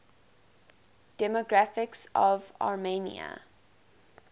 demographics of armenia